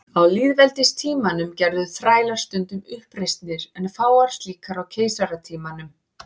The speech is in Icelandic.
Á lýðveldistímanum gerðu þrælar stundum uppreisnir en fáar slíkar á keisaratímanum.